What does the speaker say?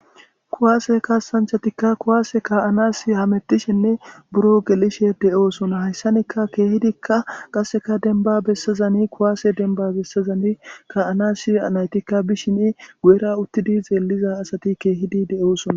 Kuwaase kaasanchatikka kuwaase kaa7anas hamettishenne buro gelishe de7oosona. Hayssanikka keehidikka qasseka dembba bessazani kuwaase dembba bessazani ka7anasi anaytikka bishini guyera uttidi xeelliza asati keehidi de7oosona.